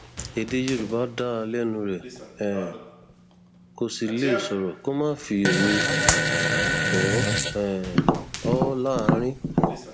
èdè yorùbá dá lẹnu rẹ um kó sì lè sọrọ kó má fi òwe bò um ó láàrín